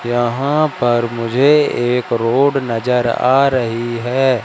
यहां पर मुझे एक रोड नजर आ रही है।